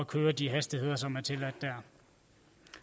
køre med de hastigheder som er tilladt der